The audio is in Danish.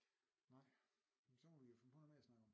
Nej men så må vi jo finde på noget mere at snakke om